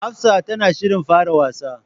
Hafsa tana shirin fara wasa.